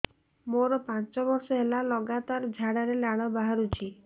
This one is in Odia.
ମୋରୋ ପାଞ୍ଚ ବର୍ଷ ହେଲା ଲଗାତାର ଝାଡ଼ାରେ ଲାଳ ବାହାରୁଚି